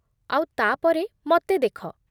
ଆଉ ତା'ପରେ ମତେ ଦେଖ!